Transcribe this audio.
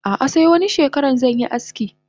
Ah ah se wani shekaran zanyi aski.